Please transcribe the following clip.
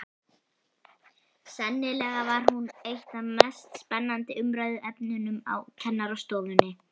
Sennilega var hún eitt af mest spennandi umræðuefnunum á kennarastofunni.